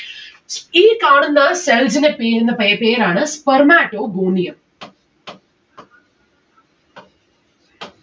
ഈ കാണുന്ന cells നെ പീരുന്ന പെ പേരാണ് spermatogonium